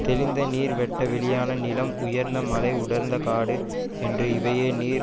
தெளிந்த நீர் வெட்ட வெளியான நிலம் உயர்ந்த மலை உடர்ந்த காடு என்னும் இவையே நீர்